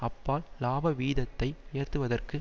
அப்பால் இலாபவீதத்தை உயர்த்துவதற்கு